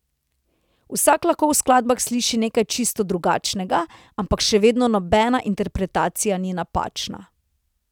Vsak lahko v skladbah sliši nekaj čisto drugačnega, ampak še vedno nobena interpretacija ni napačna.